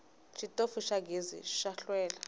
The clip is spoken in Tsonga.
xitofu xa gezi xa hlwela